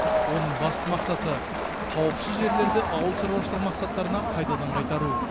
оның басты мақсаты қауіпсіз жерлерді ауыл шаруашылығы мақсаттарына қайтадан қайтару